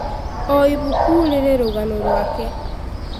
O ibuku rĩrĩ rũgano rwake.